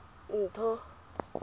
ntho